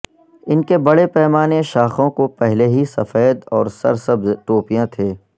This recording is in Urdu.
ان کے بڑے پیمانے شاخوں کو پہلے ہی سفید اور سرسبز ٹوپیاں تھے